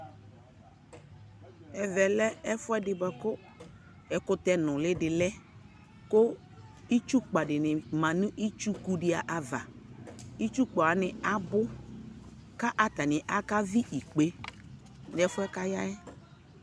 Ɛvɛ lɛ ɛfuɛ di bua ku ɛkutɛ nuli di lɛKu itsu kpa dini ma nu itsu ku di avaItsuku wani abu ku atani aka vi ikpe nu fuɛ ka ya yɛ